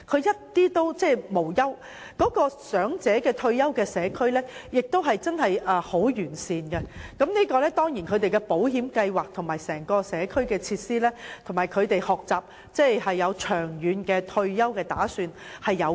他們生活無憂，長者退休社區的設備亦確實十分完善，這當然也與當地的保險計劃、社區設施及人民懂得預早為退休生活作打算有關。